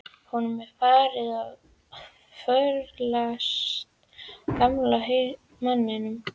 Honum er farið að förlast, gamla manninum.